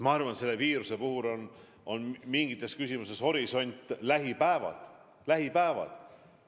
Ma arvan, et selle viiruse puhul on mingites küsimustes horisondiks lähipäevad.